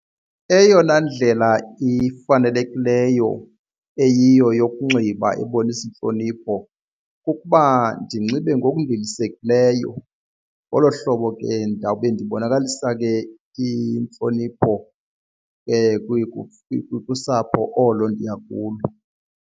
Eyona ndlela ifanelekileyo eyiyo yokunxiba ebonisa intlonipho kukuba ndinxibe ngokundilisekileyo. Ngolo hlobo ke ndawube ndibonakalisa ke intlonipho kusapho olo ndiya kulo.